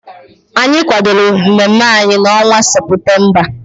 Anyị kwadoro mmemme anyị ahụ n'ọnwa Seputemba.